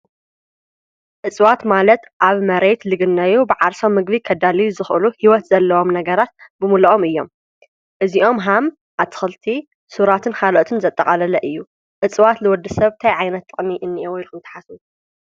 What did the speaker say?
እፅዋት ማለት ኣብ መሬት ልግነዮ ብዓርሶም ምግቢ ከዳልዩ ዝኽሉ ህይወት ዘለዎም ነገራት ብምልኦም እዮም እዚኦም ሃም ኣትኽልቲ ሱራትን ኻልኦትን ዘጠቓለለ እዩ እፅዋት ልወዲ ሰባት ታይ ዓይነት ጥቅሚ እኒኣዎ ኢልኩም ትሓስቡ?